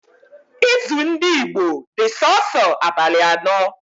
Izu ndị Igbo dị sọọsọ abalị ano